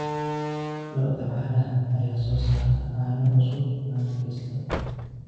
Lo'da caanaha ayaa soo saara caano cusub maalin kasta.